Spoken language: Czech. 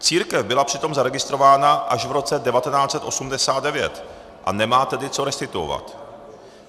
Církev byla přitom zaregistrována až v roce 1989, a nemá tedy co restituovat.